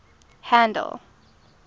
handle